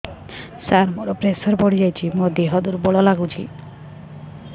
ସାର ମୋର ପ୍ରେସର ବଢ଼ିଯାଇଛି ମୋ ଦିହ ଦୁର୍ବଳ ଲାଗୁଚି